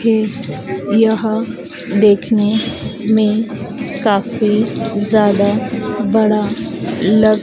ये यह देखने में काफी ज्यादा बड़ा लग--